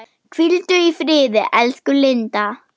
Hvíldu í friði, elsku Linda.